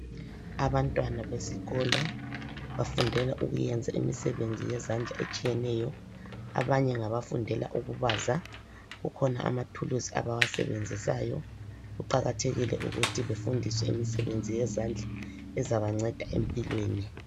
Abantwana besikolo bafundela ukuyenza imisebenzi yezandla etshiyeneyo. Abanye ngabafundela ukubaza. Kukhona amathuluzi abawasebenzisayo. Kuqakathekile ukuthi befundiswe imisebenzi yezandla ezabanceda empilweni.